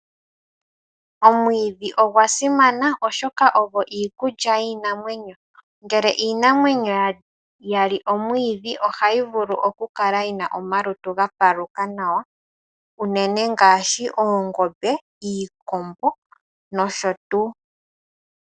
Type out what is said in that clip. Omwiidhi ogwa simana oshoka ogo iikulya yiinamwenyo. Ngele iinamwenyo ya li omwiidhi ohayi kala nomalutu gapaluka nawa unene ngaashi oongombe, iikombo nosho tuu.